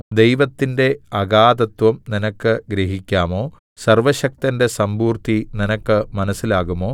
ദൈവത്തിന്റെ അഗാധതത്വം നിനക്ക് ഗ്രഹിക്കാമോ സർവ്വശക്തന്റെ സമ്പൂർത്തി നിനക്ക് മനസ്സിലാകുമോ